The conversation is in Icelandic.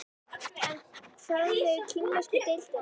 En hvað með kínversku deildina?